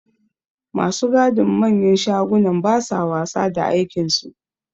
Ma su gadin manyan shagunan ba sa wasa da aikinsu.